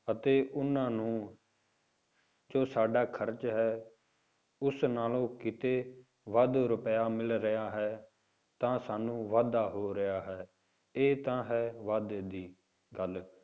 ਅਤੇ ਉਹਨਾਂ ਨੂੰ ਜੋ ਸਾਡਾ ਖ਼ਰਚ ਹੈ, ਉਸ ਨਾਲੋਂ ਕਿਤੇ ਵੱਧ ਰੁਪਇਆ ਮਿਲ ਰਿਹਾ ਹੈ, ਤਾਂ ਸਾਨੂੰ ਵਾਧਾ ਹੋ ਰਿਹਾ ਹੈ, ਇਹ ਤਾਂ ਹੈ ਵਾਧੇ ਦੀ ਗੱਲ,